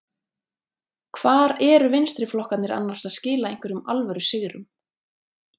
Hvar eru vinstriflokkarnir annars að skila einhverjum alvöru sigrum?